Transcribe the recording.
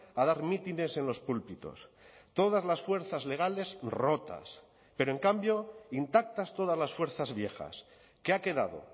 a dar mítines en los púlpitos todas las fuerzas legales rotas pero en cambio intactas todas las fuerzas viejas qué ha quedado